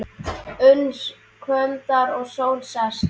Uns kvöldar og sól sest.